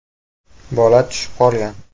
Bola tushib qolgan.